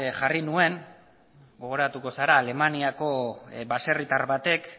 jarri nuen gogoratuko zara alemaniako baserritar batek